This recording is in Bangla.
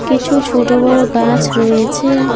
কিছু ছোট বড় গাছ রয়েছে।